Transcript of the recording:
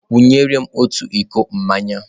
Wunye m otu iko mmanya!